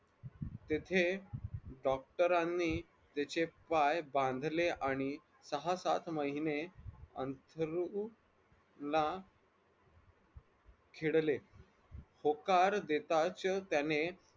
तिथे doctor रानी त्याचे पाय बांधले आणि सहा सात महिने अंथरुणात खेळले होकार देताच त्याने